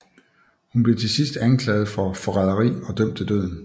Hun blev til sidst anklaget for forræderi og dømt til døden